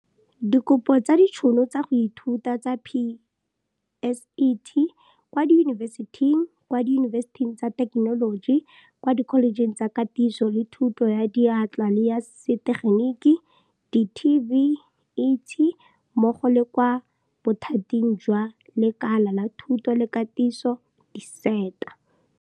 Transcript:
Dikopo tsa ditšhono tsa go ithuta tsa PSET, kwa diyunibesiting, kwa diyunibesiting tsa thekenoloji, kwa dikholejeng tsa Katiso le Thuto ya Diatla le ya setegeniki di-TVET mmogo le kwa Bothating jwa Lekala la Thuto le Katiso di-SETA.